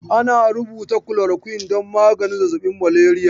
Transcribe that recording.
Ana rubuta kulorakyun don maganin zazzaɓin maleriya.